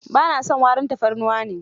Ba na son warin tafarnuwa ne.